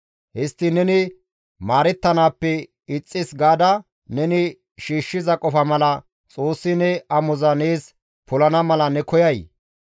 Histtiin neni maarettanaappe ixxis gaada neni shiishshiza qofa mala Xoossi ne amoza nees polana mala ne koyay?